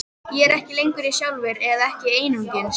Ég er ekki lengur ég sjálfur, eða ekki einungis.